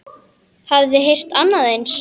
Hafið þið heyrt annað eins?